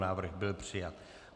Návrh byl přijat.